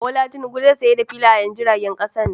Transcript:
Bola Tinubu zai sayar da filayen jiragen kasar nan.